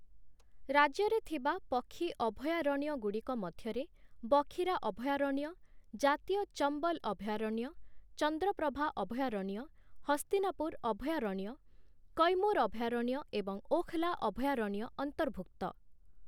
ରାଜ୍ୟରେ ଥିବା ପକ୍ଷୀ ଅଭୟାରଣ୍ୟଗୁଡ଼ିକ ମଧ୍ୟରେ ବଖିରା ଅଭୟାରଣ୍ୟ, ଜାତୀୟ ଚମ୍ବଲ ଅଭୟାରଣ୍ୟ, ଚନ୍ଦ୍ରପ୍ରଭା ଅଭୟାରଣ୍ୟ, ହସ୍ତିନାପୁର ଅଭୟାରଣ୍ୟ, କୈମୁର ଅଭୟାରଣ୍ୟ ଏବଂ ଓଖ୍‌ଲା ଅଭୟାରଣ୍ୟ ଅନ୍ତର୍ଭୁକ୍ତ ।